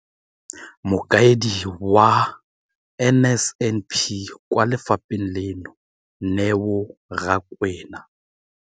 Mokaedi wa NSNP kwa lefapheng leno, Neo Rakwena,